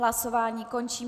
Hlasování končím.